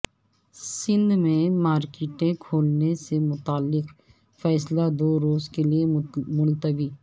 سندھ میں مارکیٹیں کھولنے سے متعلق فیصلہ دو روز کے لیے ملتوی